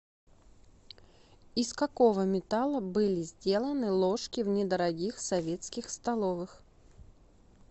из какого металла были сделаны ложки в недорогих советских столовых